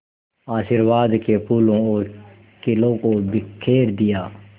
आशीर्वाद के फूलों और खीलों को बिखेर दिया